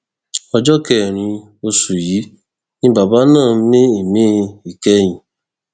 ọjọbẹrin oṣù yìí ni bàbá náà mí ìmí ìkẹyìn